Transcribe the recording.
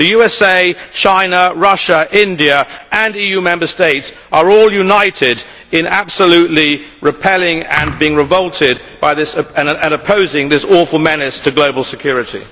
The USA, China, Russia, India and EU Member States are all united in absolutely repelling and being revolted by and opposing this awful menace to global security.